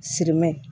Sirimɛ